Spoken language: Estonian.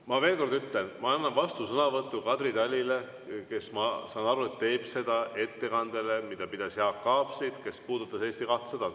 Ma veel kord ütlen, ma annan vastusõnavõtu Kadri Talile, kes, ma saan aru, teeb seda ettekandele, mille pidas Jaak Aab siit, kes puudutas Eesti 200.